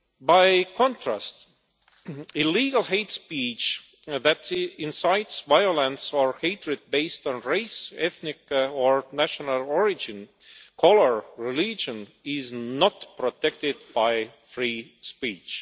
By contrast, illegal hate speech that incites violence or hatred based on race, ethnic or national origin, colour or religion is not protected by free speech.